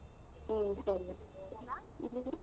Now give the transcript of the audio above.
ಹ್ಮ ಸರಿ.